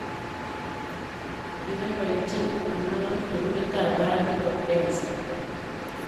Kiboibochin Anao sukulitap barak nebo Belsa